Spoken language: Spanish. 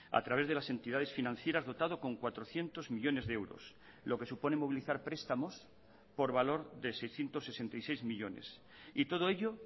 a través de las entidades financieras dotado con cuatrocientos millónes de euros lo que supone movilizar prestamos por valor de seiscientos sesenta y seis millónes y todo ello